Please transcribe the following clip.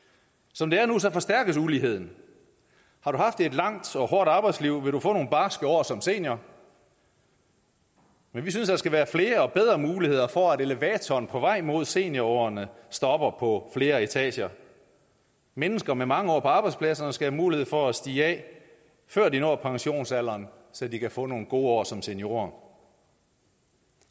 som det er nu forstærkes uligheden har du haft et langt og hårdt arbejdsliv vil du få nogle barske år som senior men vi synes der skal være flere og bedre muligheder for at elevatoren på vej mod seniorårene stopper på flere etager mennesker med mange år på arbejdspladserne skal have mulighed for at stige af før de når pensionsalderen så de kan få nogle gode år som seniorer